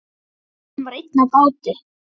Hann var einn á báti.